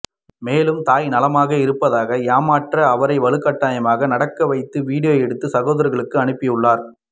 மேலும் தாய் நலமாக இருப்பதாக ஏமாற்ற அவரை வலுக்கட்டாயமாக நடக்க வைத்து வீடியோ எடுத்து சகோதரர்களுக்கு அனுப்பியுள்ளார்